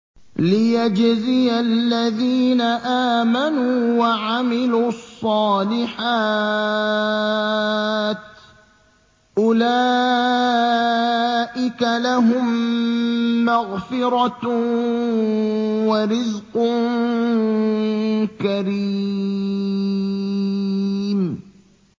لِّيَجْزِيَ الَّذِينَ آمَنُوا وَعَمِلُوا الصَّالِحَاتِ ۚ أُولَٰئِكَ لَهُم مَّغْفِرَةٌ وَرِزْقٌ كَرِيمٌ